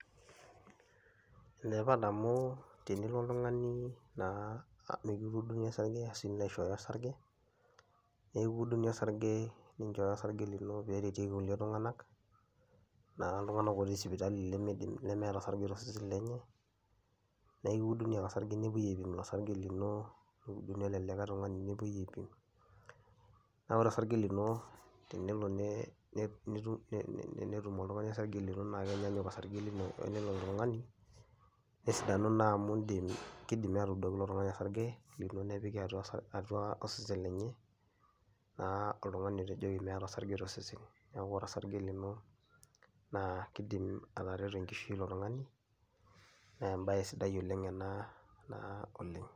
Enetipat amu tenilo oltungani naa mikituuduni osarge arashu nilo aishooyo osarge, naa ekiuduni osarge ninchooyo osarge lino peereteki kulie tunganak, naa iltunganak otii sipitali limiidim lemeeta osarge tooseseni lenye, naa ekiuduni ake osarge nepuoi aipim ilo sarge lino, neuduni ilelikae tungani nepuoi aipim. naa ore osarge lino tenelo netum oltungani osarge lino naa kenyanyuk osarge lino olilo tungani nesidanu naa amu indim keidimi aatuudu ilo tungani osarge lino nepiki atua osesen lenye naa oltungani otejoki meeta osarge tosesen. Neeku ore osarge lino, naa keidim atereto enkishui ilo tungani, naa embae sidai ena naa oleng'.